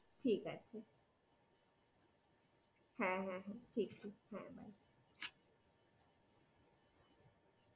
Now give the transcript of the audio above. ঠিক আছে হা হা হা ঠিক আছে।